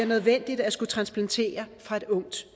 nødvendigt at skulle transplantere fra et ungt